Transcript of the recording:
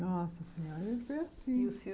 Nossa senhora, ele foi assim.